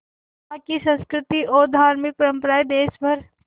वहाँ की संस्कृति और धार्मिक परम्पराएं देश भर